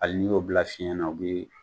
Hali n'i y'o bila fiɲɛ na o bi